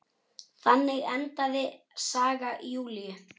Þannig endaði saga Júlíu.